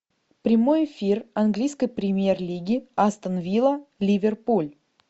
прямой эфир английской премьер лиги астон вилла ливерпуль